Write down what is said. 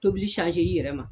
Tobili i yɛrɛ ma.